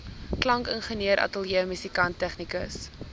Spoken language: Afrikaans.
klankingenieur ateljeemusikant tegnikus